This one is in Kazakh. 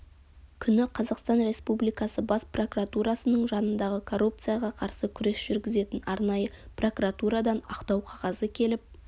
күні қазақстан республикасы бас прокуратурасының жанындағы коррупцияға қарсы күрес жүргізетін арнайы прокуратурадан ақтау қағазы келіп